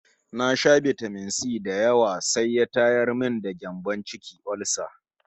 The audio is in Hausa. Na sha bitamin-si da yawa sai ya tayar min da gyambon ciki (olsa)